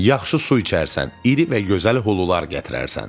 Yaxşı su içərsən, iri və gözəl hulular gətirərsən.